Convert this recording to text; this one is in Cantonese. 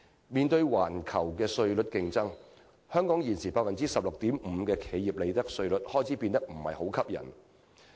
面對環球的稅率競爭，香港現時 16.5% 的企業利得稅率開始變得不再吸引。